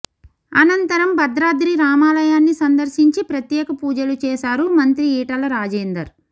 అనంతరం భద్రాద్రి రామాలయాన్ని సందర్శించి ప్రత్యేక పూజలు చేశారు మంత్రి ఈటల రాజేందర్